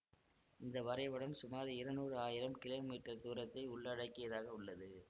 இந்த வரைபடம் சுமார் இருநூறாயிரம் கிலோ மீட்டர் தூரத்தை உள்ளடக்கியதாக உள்ளது